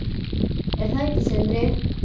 Er það ekki Sindri?